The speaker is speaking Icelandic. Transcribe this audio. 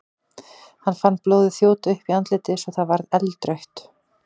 Hann fann blóðið þjóta upp í andlitið svo að það varð eldrautt.